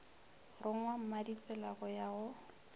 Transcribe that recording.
rongwa mmaditsela go ya go